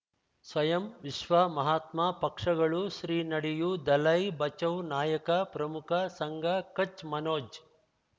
ಸ್ವಯಂ ವಿಶ್ವ ಮಹಾತ್ಮ ಪಕ್ಷಗಳು ಶ್ರೀ ನಡೆಯೂ ದಲೈ ಬಚೌ ನಾಯಕ ಪ್ರಮುಖ ಸಂಘ ಕಚ್ ಮನೋಜ್